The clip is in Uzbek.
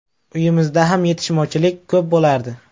Uyimizda ham yetishmovchilik ko‘p bo‘lardi.